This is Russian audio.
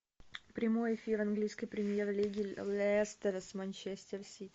прямой эфир английской премьер лиги лестера с манчестер сити